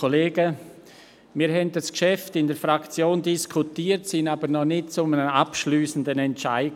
Wir haben das Geschäft in der Fraktion diskutiert, sind aber noch zu keinem abschliessenden Entscheid gekommen.